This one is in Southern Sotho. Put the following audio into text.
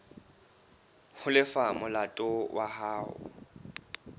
ho lefa molato wa hao